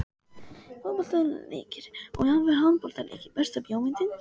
Fótboltaleikir og jafnvel handboltaleikir Besta bíómyndin?